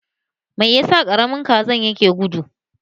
Me yasa Karamin Kazan yake gudu?